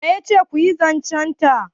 wa ya ce ku yi zancenta